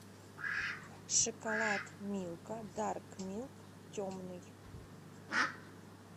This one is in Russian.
шоколад милка дарк милк темный